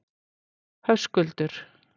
Höskuldur